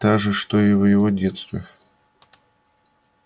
та же что и в его детстве